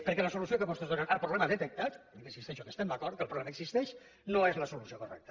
perquè la solució que vostès donen al problema detectat i hi insisteixo que hi estem d’acord però que el problema existeix no és la solució correcta